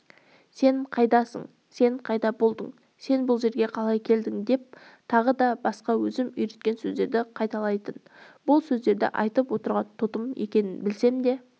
сен қайдасың сен қайда болдың сен бұл жерге қалай келдің деп тағы да басқа өзім үйреткен сөздерді қайталайтын бұл сөздерді айтып отырған тотым екенін білсем де